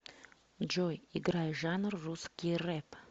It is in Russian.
джой играй жанр русский рэп